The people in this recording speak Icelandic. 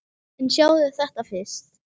En sjáðu þetta fyrst!